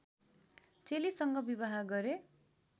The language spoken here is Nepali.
चेलीसँग विवाह गरे